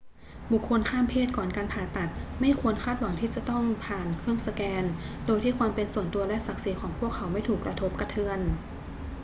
บุคคลข้ามเพศก่อนการผ่าตัดไม่ควรคาดหวังที่จะต้องผ่านเครื่องสแกนโดยที่ความเป็นส่วนตัวและศักดิ์ศรีของพวกเขาไม่ถูกกระทบกระเทือน